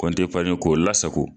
Kɔnti eparni k'o o la sago.